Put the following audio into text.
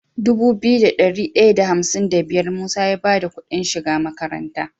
Dubu biyu da dari daya da hamsin da biyar musa ya bada Ƙudin shiga makaranta